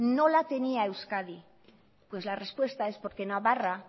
no la tenía euskadi pues la respuesta es porque en navarra